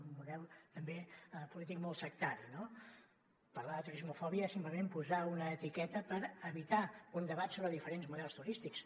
un model també polític molt sectari no parlar de turismofòbia és simplement posar una etiqueta per evitar un debat sobre diferents models turístics